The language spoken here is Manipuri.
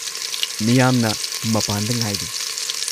-ꯃꯤꯌꯥꯝꯅ ꯃꯄꯥꯟꯗ ꯉꯥꯏꯔꯤ ꯫